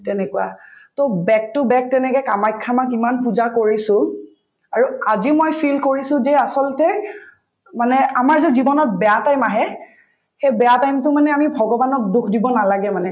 তেনেকুৱা to back to back তেনেকে কামাখ্যা মাক ইমান পূজা কৰিছো আৰু আজিও মই feel কৰিছো যে আচলতে মানে আমাৰ যে জীৱনত বেয়া time আহে সেই বেয়া time তো মানে আমি ভগৱানক দোষ দিব নালাগে মানে